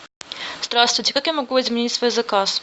здравствуйте как я могу изменить свой заказ